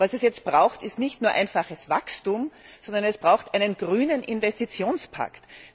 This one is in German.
Was es jetzt braucht, ist nicht nur einfaches Wachstum, sondern es braucht einen grünen Investitionspakt.